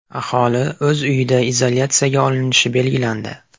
Aholi o‘z uyida izolyatsiyaga olinishi belgilandi.